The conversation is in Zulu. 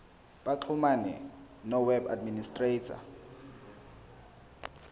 baxhumane noweb administrator